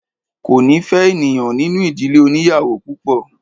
Ko ni fe ènìyàn nínú ìdílé oniyawo púpò